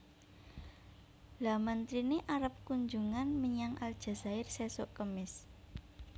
Lha menterine arep kunjungan menyang Aljazair sesok kemis